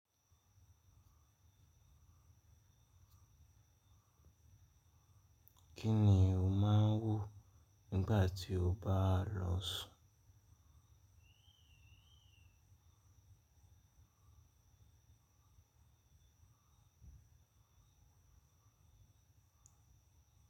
Kí ni o máa ń wo nígbà tí o bá lọ sùn?